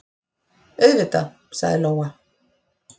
Auðvitað, sagði Lóa.